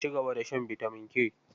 Ci gaba da shan bitamin K.